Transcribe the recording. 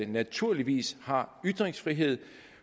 naturligvis har ytringsfrihed